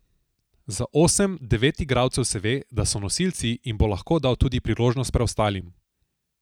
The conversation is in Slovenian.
Za osem, devet igralcev se ve, da so nosilci in bo lahko dal tudi priložnost preostalim.